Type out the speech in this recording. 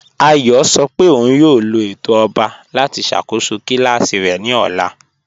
Àyọ̀ sọ́ pé ọ̀un yóò lọ̀ ètò ọ̀ba láti ṣakóṣọ́ kílàsí rẹ̀ ni ọ̀là.